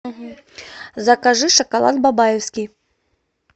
закажи шоколад бабаевский